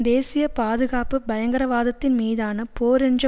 தேசிய பாதுகாப்பு பயங்கரவாதத்தின் மீதான போர் என்ற